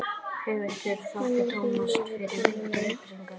höfundur þakkar tómasi fyrir veittar upplýsingar